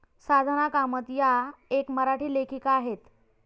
साधना कामत या एक मराठी लेखिका आहेत.